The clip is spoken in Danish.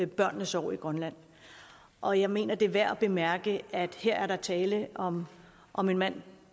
børnenes år i grønland og jeg mener det er værd at bemærke at der her er tale om om en mand